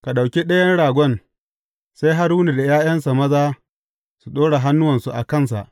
Ka ɗauki ɗayan ragon, sai Haruna da ’ya’yansa maza su ɗora hannuwansu a kansa.